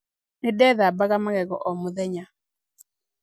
Nĩ ndethabaga magego o mũthenya.